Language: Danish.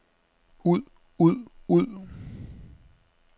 ud ud ud